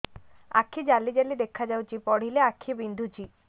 ଆଖି ଜାଲି ଜାଲି ଦେଖାଯାଉଛି ପଢିଲେ ଆଖି ବିନ୍ଧୁଛି